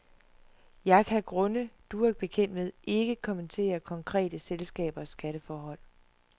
Jeg kan af grunde, du er bekendt med, ikke kommentere konkrete selskabers skatteforhold.